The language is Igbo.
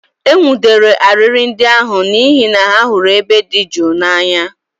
E nwụdere arịrị ndị ahụ n'ihi na ha hụrụ ebe dị jụụ n'anya